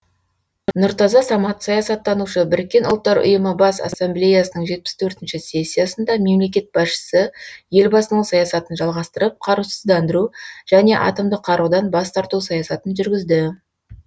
нұртаза самат саясаттанушы біріккен ұлттар ұйымы бас ассамблеясының жетпіс төртінші сессиясында мемлекет басшысы елбасының саясатын жалғастырып қарусыздандыру және атомдық қарудан бас тарту саясатын жүргізді